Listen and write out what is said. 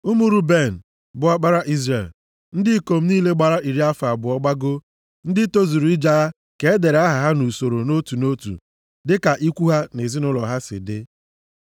Ụmụ Ruben, bụ ọkpara Izrel: Ndị ikom niile gbara iri afọ abụọ gbagoo; ndị tozuru ije agha ka e dere aha ha nʼusoro nʼotu nʼotu dịka ikwu ha na ezinaụlọ ha si dị.